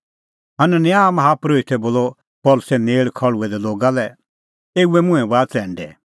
हनन्याह माहा परोहितै बोलअ पल़सी नेल़ खल़्हुऐ दै लोगा लै एऊए मुंहैं बाहा च़ैंडै